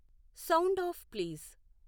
sound off please